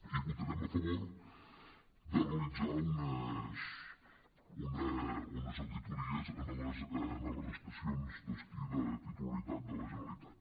i votarem a favor de realitzar unes auditories a les estacions d’esquí de titularitat de la generalitat